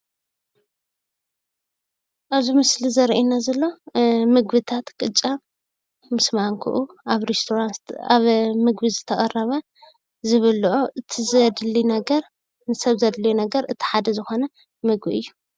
ኣብዚ ምስሊ ዘርእየና ዘሎ ምግብታት ቅጫ ምስ ማንኮኦም ኣብ ምግቢ ዝተቐረበ ዝብልዖ እቲ ዘድሊ ነገር ንሰብ ዘድሊ ነገር እቲ ሓደ ዝኾነ ምግቢ እዩ፡፡